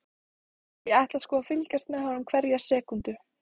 Ég ætla sko að fylgjast með honum hverja sekúndu.